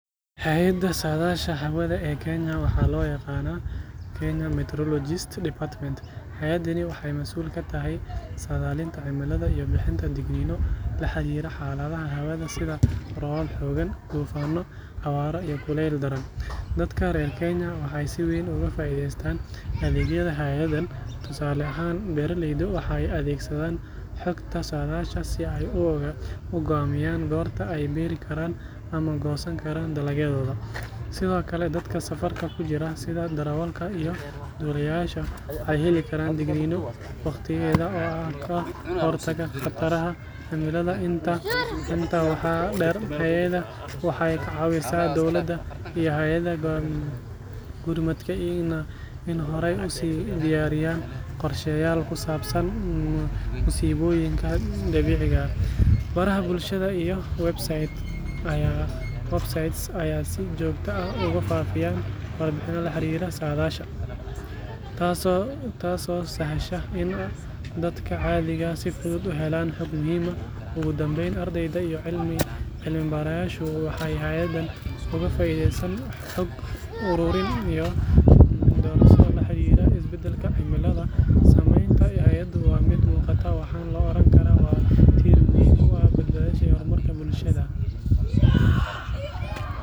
Hay’adda saadaasha hawada ee Kenya waxaa loo yaqaan Kenya Meteorological Department. Hay’adani waxay masuul ka tahay saadaalinta cimilada iyo bixinta digniino la xiriira xaaladaha hawada sida roobab xooggan, duufaanno, abaaro iyo kulayl daran. Dadka reer Kenya waxay si weyn uga faa’iideeyaan adeegyada hay’addan. Tusaale ahaan, beeraleydu waxay adeegsadaan xogta saadaasha si ay u go’aamiyaan goorta ay beeri karaan ama goosan karaan dalagyadooda. Sidoo kale, dadka safarka ku jira, sida darawallada iyo duuliyeyaasha, waxay heli karaan digniino waqtigeeda ah oo ka hortaga khataraha cimilada. Intaa waxaa dheer, hay’adda waxay ka caawisaa dowladda iyo hay’adaha gurmadka inay horay u sii diyaariyaan qorshayaal ku saabsan musiibooyinka dabiiciga ah. Baraha bulshada iyo websites ayay si joogto ah ugu faafiyaan warbixino la xiriira saadaasha, taasoo sahasha in dadka caadiga ah si fudud u helaan xog muhiim ah. Ugu dambeyn, ardayda iyo cilmi-baarayaashu waxay hay’addan uga faa’iideeyaan xog ururin iyo daraasado la xiriira isbedelka cimilada. Saameynta hay’addu waa mid muuqata, waxaana la oran karaa waa tiir muhiim u ah badbaadada iyo horumarka bulshada.